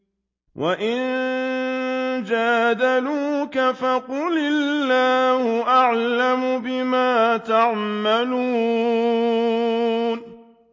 وَإِن جَادَلُوكَ فَقُلِ اللَّهُ أَعْلَمُ بِمَا تَعْمَلُونَ